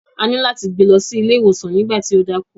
A ní láti gbe lọ sí ilé iwosan nígbà tí ó dákú.